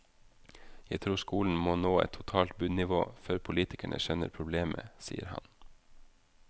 Jeg tror skolen må nå et totalt bunnivå før politikerne skjønner problemet, sier han.